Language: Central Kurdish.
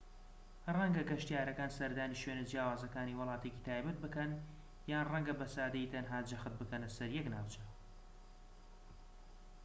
ڕەنگە گەشتیارەکان سەردانی شوێنە جیاوازەکانی وڵاتێکی تایبەت بکەن یان ڕەنگە بە سادەیی تەنها جەخت بکەنە سەر یەک ناوچە